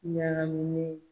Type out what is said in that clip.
Ɲagaminen